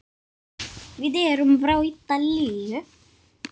Við erum frá Ítalíu.